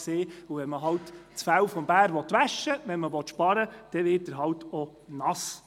Denn will man, wenn man sparen will, das Fell des Bären waschen, wird dieser halt einfach nass.